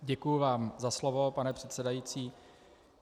Děkuji vám za slovo, pane předsedající.